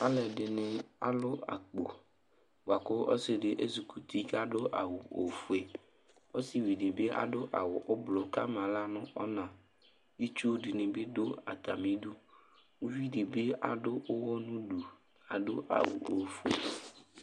Alu ɛɖɩnɩ alu akpo buaku ɔsɩ ɖɩ ezɩkutɩ kaɖu awuofoe, ɔsɩvɩ ɖɩ bɩ aɖu awu ublu kama ɣla nu ɔna Ɩtsu ɖɩnɩ bɩ ɖu atami ɖu Uvɩ ɖɩ bɩ aɖu uwɔ nuɖu, aɖu awu ofoe